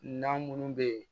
Na minnu bɛ yen